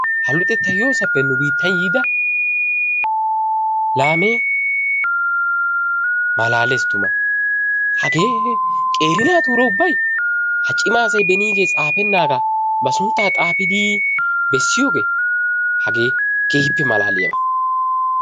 Ha luxettay yoosappe nu biittan yiida laamme malaalees tuma. Hagee qeeri naatuura ubbay ha cima asay benigee tsaafenaaga ba suntta xaafidi bessiyooge hagee keehippe malaaliyaaba.